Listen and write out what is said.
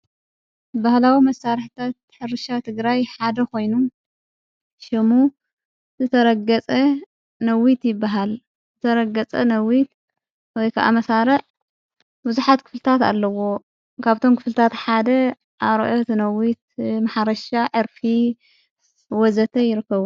በህላዊ መሣርሕታት ሕርሻ ትግራይ ሓደ ኾይኑ ሽሙ ዘተረገጸ ነዊት ይበሃል ዘተረገጸ ነዊት ወይከዓመሣረዕ ብዙኃት ክፍልታት ኣለዎ ካብቶም ክፍልታት ሓደ ኣርኦት ነዊት መሓረሻ ዕርፊ ወዘተ.... ይርከቡ።